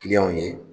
Kiliyanw ye